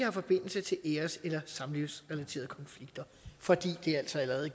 har forbindelse til æres eller samlivsrelaterede konflikter for de er altså allerede